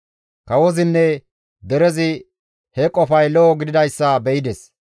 Kawozinne derezi he qofay lo7o gididayssa be7ides.